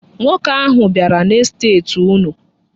Nwoke ahụ bịara n'estet unu.